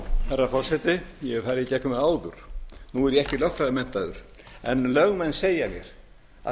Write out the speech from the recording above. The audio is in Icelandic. herra forseti ég hef farið í gegnum það áður nú er ég ekki lögfræðimenntaður en lögmenn segja beri